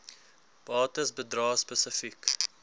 bates bedrae spesifiek